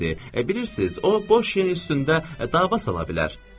Bilirsiniz, o boş yerin üstündə dava sala bilər.